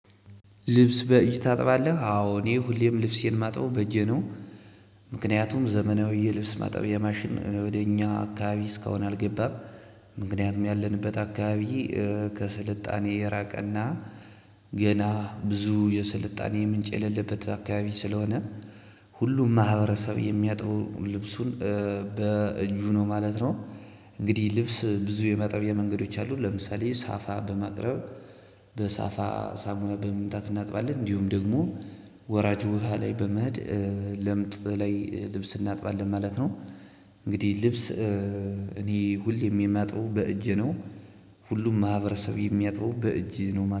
ልብስ በእጅ ታጥባለህ? አወን እኔ ሁሌም ልብሴን የማጥበው በእጄ ነው። ምክንያቱም ዘመናዊ ልብስ ማጥቢያ ማሽን ወደ እኛ አካባቢ እስካሁን አልገባም ምክንያቱም ያለንበት አካባቢ ከስልጣኔ የራቀና ገና ብዙ የስልጣኔ ምንጭ የሌለበት አካባቢ ስለሆነ ሁሉም ማህበረሰብ የሚያጥበው ልብሱን በእጁ ነው ማለት ነው እንግዲህ ልብስ ብዙ የማጠቢያ መንገዶች አሉ ለምሳሌ ሳፋ በማቅረብ በሳፋ ሳሙና በመምታት እናጥባለን እንዲሁም ደግሞ ወራጅ ውሃ ላይ በመሄድ ለምጥ ላይ ልብስ እናጥባለን ማለት ነው እንግዲህ ልብስ እኔ ሁሌም የማጥበው በእጄ ነው ሁሉም ማህበረሰብ የሚያጥበው በእጅ ነው ማለት ነው